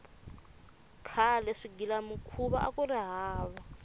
khale swigilamikhuva akuri hava